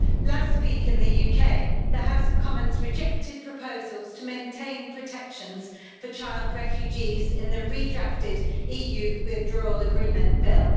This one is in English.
Last week in the UK, the House of Commons rejected proposals to maintain protections for child refugees in the redrafted EU Withdrawal Agreement Bill.